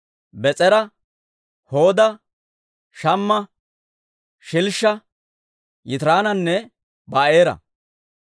Bees'era, Hooda, Shamma, Shilshsha, Yitiraananne Ba'eera.